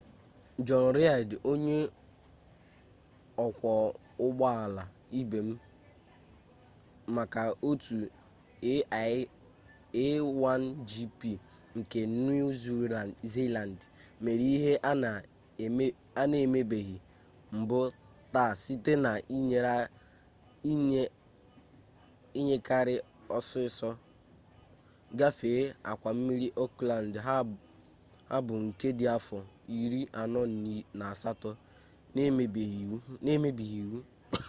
jọni reid onye ọkwọ ụgbọala ibe m maka otu a1gp nke niu ziland mere ihe a na-emebeghi mbụ taa site na-inyakari ọsịsọ gafee akwa mmiri ọkland habọ nke dị afọ iri anọ na asatọ na-emebighị iwu